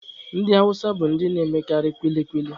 Ndị awụsa bụ ndị na-emekarị kwili kwili.